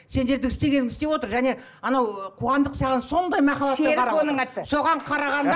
сендердің істегеніңді істеп отыр және анау қуандық саған сондай махаббатпен соған қарағанда